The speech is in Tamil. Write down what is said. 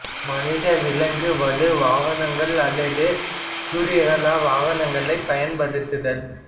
மனித விலங்கு வலு வாகனங்கள் அல்லது சூரியகல வாகனங்களைப் பயன்படுத்தல்